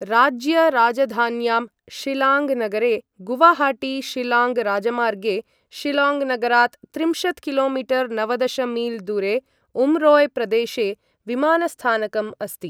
राज्य राजधान्यां शिलाङ्ग् नगरे गुवाहाटी शिलाङ्ग् राजमार्गे शिलाङ्ग् नगरात् त्रिंशत् किलोमीटर् नवदश मील् दूरे उम्रोय् प्रदेशे विमानस्थानकम् अस्ति।